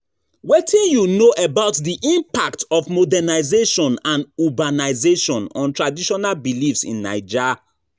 Wetin you know about di impact of modernization and urbanization on traditional beliefs in Naija?